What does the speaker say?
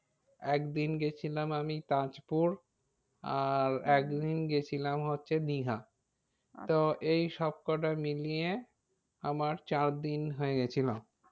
একদিন গিয়েছিলাম আমি তাজপুর আর একদিন গিয়েছিলাম হচ্ছে দীঘা তো এই সবকটা মিলিয়ে আমার চার দিন হয়ে গিয়েছিলো।